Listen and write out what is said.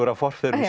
af forfeðrum